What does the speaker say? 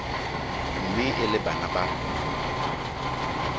mme e le bana ba